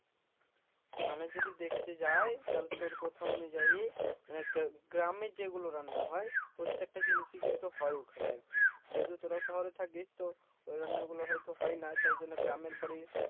মানে যদি দেখতে যাই তাহলে তোর কথা অনুযায়ী মানে গ্রা~ গ্রামের যেগুলো রান্না হয় প্রত্যেক টা জিনিসই হয় ওখানে আরকি যেহেতু তোরাও শহরে থাকিস তো ওই রান্নাগুলো হয়তো হয়না তাই জন্য গ্রামের বাড়ি